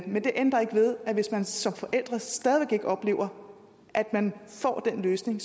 men det ændrer ikke ved at hvis man som forælder stadig væk ikke oplever at man får den løsning